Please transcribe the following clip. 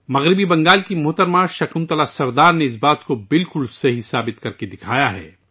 مغربی بنگال کی مسز شکنتلا سردار نے اس بات کو بالکل درست ثابت کیا ہے